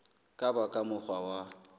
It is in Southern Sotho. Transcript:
ka ba ka mokgwa wa